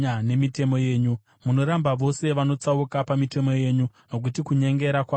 Munoramba vose vanotsauka pamitemo yenyu, nokuti kunyengera kwavo hakuna maturo.